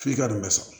F'i ka nin bɛɛ sɔrɔ